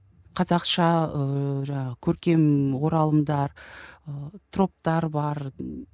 қазақша ыыы жаңағы көркем оралымдар ы троптар бар